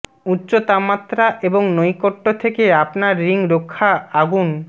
উচ্চ তাপমাত্রা এবং নৈকট্য থেকে আপনার রিং রক্ষা আগুন